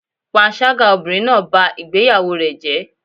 Panṣágà obìnrin náà bá ìgbéyàwó rẹ̀ jẹ́.